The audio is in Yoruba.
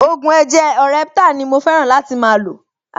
Ògùn ẹ̀jẹ̀ orheptal ni mo fẹ́ràn láti máa lò